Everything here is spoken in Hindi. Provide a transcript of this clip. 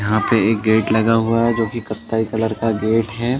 यहाँ पे एक गेट लगा हुआ है जोकि कथ्थई कलर का गेट हैं।